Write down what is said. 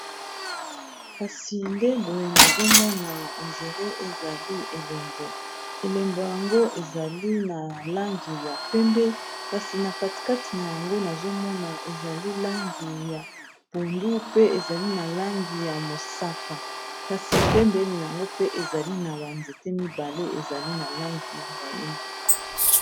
Kasi nde boye nazomona endiré ezali elembo elembo yango ezali na langi ya pembe kasi na katikati na yango nazomona ezali langi ya pondu, pe ezali na langi ya mosaka, kasi pembe eli yango pe ezali na banzete mibale ezali na langi ya moindo.